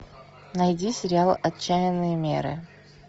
найди сериал отчаянные меры